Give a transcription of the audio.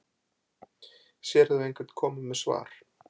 Sérðu einhvern koma með svar